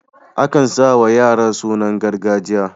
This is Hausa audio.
Akan sa wa yara sunan gargajiya.